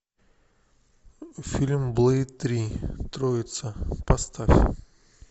фильм блэйд три троица поставь